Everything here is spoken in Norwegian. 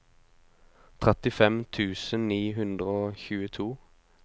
trettifem tusen ni hundre og tjueto